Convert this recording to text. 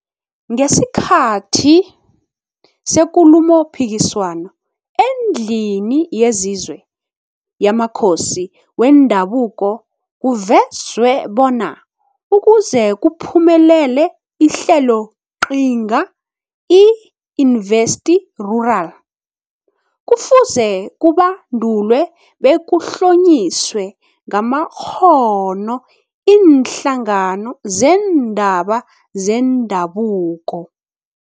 Ngesikhathi seKulumopikiswano eNdlini yesiZwe yamaKhosi weNdabuko kuvezwe bona ukuze kuphumelele iHleloqhinga i-InvestRural kufuze kubandulwe bekuhlonyiswe ngamakghono iinhlangano zeendaba zendabuko.